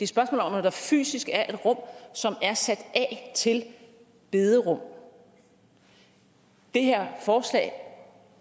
spørgsmål om at der fysisk er et rum som er sat af til bederum det her forslag